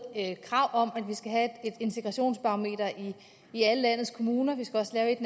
krav om at man skal have et integrationsbarometer i alle landets kommuner vi skal også have et